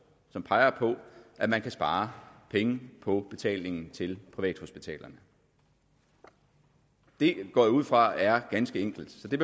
som peger på at man kan spare penge på betalingen til privathospitalerne det går jeg ud fra er ganske enkelt så det